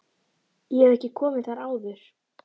Ég hef ekki komið þar áður.